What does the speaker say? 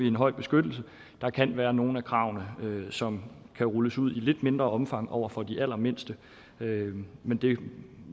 en høj beskyttelse der kan være nogle af kravene som kan rulles ud i lidt mindre omfang over for de allermindste men det